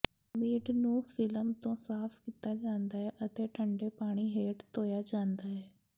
meat ਨੂੰ film ਤੋਂ ਸਾਫ ਕੀਤਾ ਜਾਂਦਾ ਹੈ ਅਤੇ ਠੰਡੇ ਪਾਣੀ ਹੇਠ ਧੋਿਆ ਜਾਂਦਾ ਹੈ